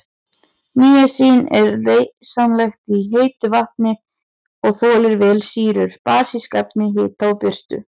Níasín er leysanlegt í heitu vatni og þolir vel sýrur, basísk efni, hita og birtu.